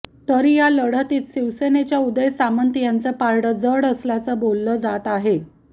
तरी या लढतीत शिवसेनेच्या उदय सामंत यांचं पारडं जडं असल्याचं बोललं जात आहे